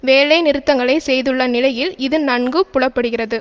வேலைநிறுத்தங்களை செய்துள்ள நிலையில் இது நன்கு புலப்படுகிறது